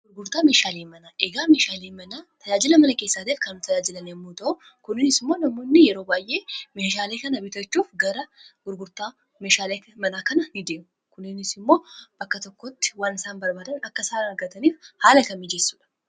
gurgurtaa meeshaalii manaa egaa meeshaalii manaa tajaajila mana keessaateef kanau tajaajilan yemmuu ta'o kuninis immoo namoonni yeroo baay'ee meeshaalii kana biitachuuf gara gurgurtaa meeshaalii manaa kana in de'u kuninis immoo bakka tokkotti waanisaan barbaadan akka isaana argataniif haala ka miijeessu dha